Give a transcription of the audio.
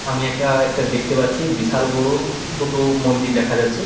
আমি এটা একটা দেখতে পাচ্ছি বিশাল বড়-ও দুটো মন্দির দেখা যাচ্ছে ।